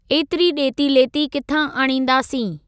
ऐतिरी ॾेती लेती किथां आणींदासीं?